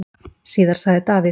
Síðar sagði Davíð: